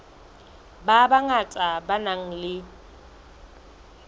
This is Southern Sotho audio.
ba bangata ba nang le